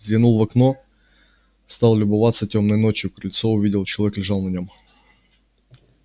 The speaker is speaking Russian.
взглянул в окно стал любоваться тёмной ночью крыльцо увидел человек лежал на нём